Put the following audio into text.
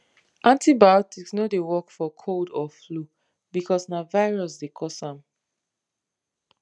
antibiotics no dey work for cold or flu because na virus dey cause am